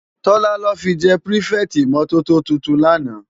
Tola lò fi jè pirifèti imòtótó tútún làná